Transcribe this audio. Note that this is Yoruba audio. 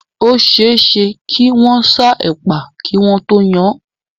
Ó ṣe é ṣe kí wọ́n sá ẹ̀pà kí wọ́n tó yan án.